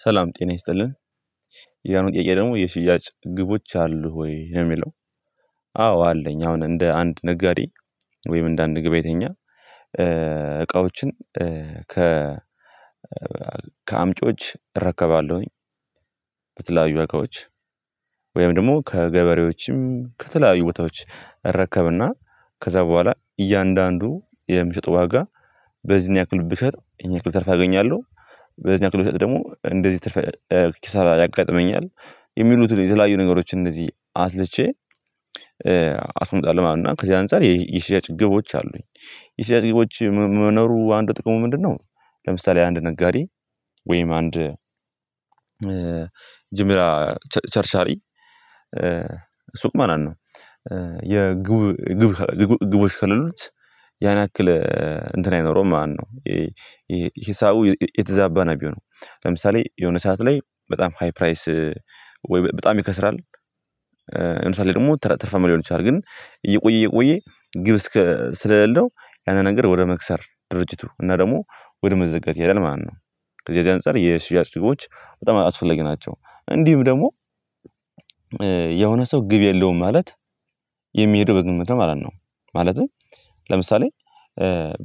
ሰላም ጤና ይስጥልን ያ ጥያቄ ደግሞ የሽያጭ ግቦች አሉ ወይ የሚለው? አዎ አለኝ አሁን እንደ አንድ ነጋዴ ወይም እንደ አንድ ገብ ያተኛ እቃዎችን ከ ከአምጮች እረከባለሁኝ። በተለያዩ ዋጋዎች ወይም ደግሞ ከገበሬዎችም ከተለያዩ ቦታዎች እረከብና ከዛ በኋላ እያንዳንዱ የሚሸጥ ዋጋ በዚህን ያክል ብሸጥ ይሄን ያክል ትርፍ አገኛለሁ። በዚህ አክል ብሸጥ ደግሞ እንደዚህ ትርፍ ኪሳራ ያጋጥመኛል የሚሉትን የተለያዩ ነገሮችን እነዚህ አስልቼ አስመጣለሁ ዋና ከዚህ አንፃር የሽያጭ ግቦች አሉኝ። የሽያጭ ግቦቼ መኖሩ አንዱ ጥቅሙ ምንድነው? ለምሳሌ አንድ ነጋዴ ወይም አንድ ጅምላ ቸርቻሪ ሱቅ ማን ነው የግብ ግብ ግቦች ከሌሉት ያን ያክል እንትን አይኖረውም ማነው? ይሄ ሂሳቡ የተዛባ ነገር ለምሳሌ የሆነ ሰዓት ላይ በጣም ሃይ ፕራይስ ወይ በጣም ይከስራል። ለምሳሌ ደግሞ ትርፋማ ሊሆን ይችላል ግን እየቆየ እየቆየ ግብ ስለሌለው ያንን ነገር ወደ መክሰር ድርጅቱ እና ደግሞ ወደ መዘጋት ይሄዳል ማለት ነው። ከዚህ አንፃር የሽያጭ ግቦች በጣም አስፈላጊ ናቸው እንዲሁም ደግሞ የሆነ ሰው ግብ የለውም ማለት የሚሄደው በግምት ማለት ነው። ማለትም ለምሳሌ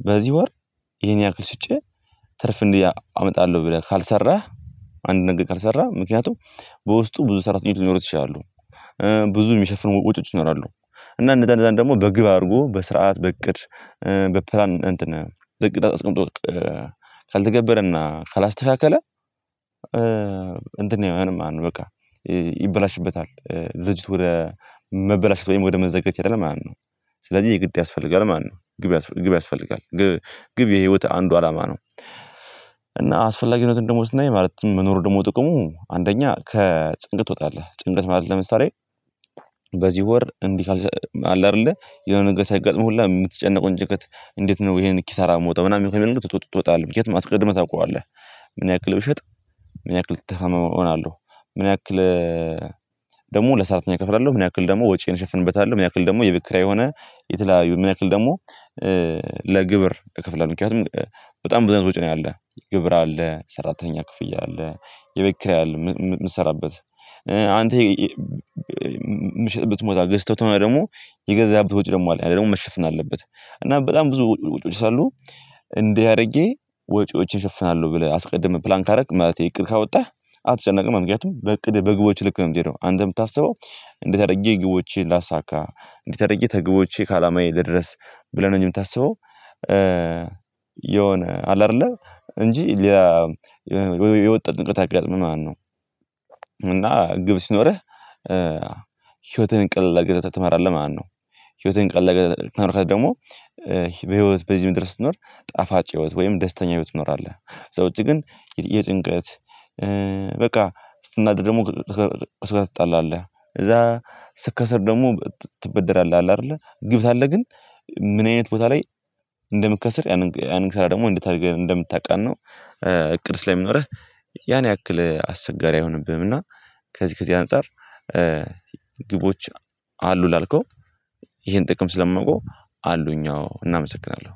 በዚህ ወር ይሄን ያክል ሽጬ ትርፍ እንዲያ አመጣለሁ ብለህ ካልሰራህ አንድ ነገር ካልሰራህ ምክንያቱም በውስጡ ብዙ ሰራተኞች ሊኖሩ ይችላሉ። ብዙ የሚሸፍኑ ወጪዎች ይኖራሉ እና እነዛ እነዛን ደግሞ በግብ አድርጎ በስርዓት በእቅድ በፕላን እንትን በእቅድ አስቀምጦ ካልተገበረና ካላስተካከለ እንትን አይሆንም ማለት ነው። በቃ ይበላሽበታል ድርጅቱ ወደ መበላሸት ወይም ወደ መዘጋትይሄዳል ማለት ነው። ስለዚህ የግድ ያስፈልጋል ማለት ነው ግብ ግብ ያስፈልጋል ግብ የህይወት አንዱ አላማ ነው። እና አስፈላጊነቱን ደግሞ ስናይ ማለትም መኖሩ ደግሞ ጥቅሙ አንደኛ ከጭንቅ ትወጣለህ ጭንቀት ማለት ለምሳሌ በዚህ ወር እንዲህ ካልሰ አለ አይደለ የሆነ ነገር ሲያጋጥምህ ሁላ የምትጨነቀውን ጭንቀት እንዴት ነው ይሄን ኪሳራ የምወጣው ምናምን ከመንገድ ትወጣለህ ምክንያቱም አስቀድመህ ታውቃለህ። ምን ያክል ብሸጥ ምን ያክል ትርፋማ እሆናለሁ። ምን ያክል ደግሞ ለሰራተኛ እከፍላለሁ ምን ያክል ደግሞ ወጪዬን እሸፍንበታለሁ ምን ያክል ደግሞ የቤት ኪራይ የሆነ የተለያዩ ምን ያክል ደግሞ ለግብር እከፍላለሁ። ምክንያቱም በጣም ብዙ አይነት ወጪ ነው ያለ ግብር አለ ሰራተኛ ክፍያ አለ የቤት ኪራይ አለ የምትሰራበት አንተ ምሽት ብትሞላ ገዝተውት ደግሞ የገዛህበት ወጪ ደግሞ አለ ያ ደግሞ መሸፈን አለበት እና በጣም ብዙ ወጪ ወጪዎች ሰለአሉ እንዴት አድርጌ ወጪዎችን እሸፍናለሁ። ብለህ አስቀድመህ ፕላን ካረክ ማለቴ እቅድ ካወጣህ አትጨነቅም ምክንያቱም በእቅድ በግቦች ልክ ነው የምትሄደው አንተ የምታስበው እንዴት አድርጌ ግቦቼ ላሳካ እንዴት አድርጌ ከግቦቼ ከአላማዬ ልድረስ ብለህ ነው እንጂ የምታስበው። የሆነ አለ አይደለ እንጂ የወጣት ንቅርት አካል ምን ማለነው? እና ግብ ሲኖርህ ህይወትን ቀለል አረገህ ትመራለህ ማለነው። ህይወትን ቀለል ከኖርክ ደግሞ በህይወት በዚህ ምድር ስትኖር ጣፋጭ ህይወት ወይም ደስተኛ ህይወት ትኖራለህ። ከዛ ውጪ ግን የጭንቀት በቃ ስትናደድ ደግሞ ከሰው ትጣላለህ ከዛ ስከስር ደግሞ ትበደራለህ አለ አይደለ ግብ አለ ግን ምን አይነት ቦታ ላይ እንደምትከስር ያንን እንደምታቃናው እቅድ ስለሚኖርህ ያን ያክል አስቸጋሪ አይሆንብህምና። ከዚህ ከዚህ አንፃር ግቦች አሉ ላልከው ይሄን ጥቅም ስለማውቀው አሉኝ። አዎ እና አመሰግናለሁ